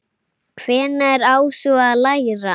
Hvenær á svo að læra?